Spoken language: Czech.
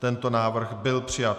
Tento návrh byl přijat.